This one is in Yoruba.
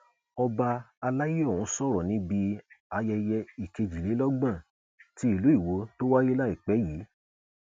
ọba àlàyé ọhún sọrọ yìí níbi ayẹyẹ ìkejìlélọgbọn ti ìlú iwọ tó wáyé láìpẹ yìí